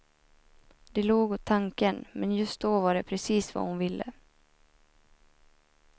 De log åt tanken, men just då var det precis vad hon ville.